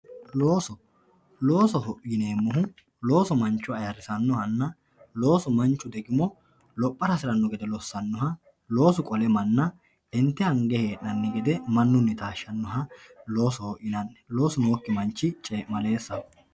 Looso, loosoho yineemmohu loosu mancho ayirrisanohanna loosu degimo lophara hasirano gede lossanoha loosu qolle manna inte ange hee'nanni gede mannunni taashanoha loosoho yinanni loosu nookki manchi cemalessaho.